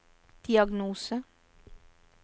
diagnose